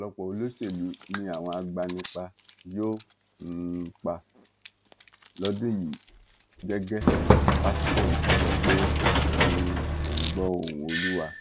ọpọlọpọ olóṣèlú ni àwọn agbanipa yóò um pa lọdún yìí gẹgẹ pásítọ yìí ti sọ pé um òun gbọ ohùn olúwa